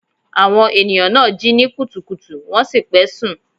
Àwọn ènìyàn náà jí ní kùtùkùtù wọ́n sì pẹ́ sùn.